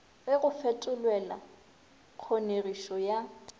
ge go fetolelwa kgonegišo ya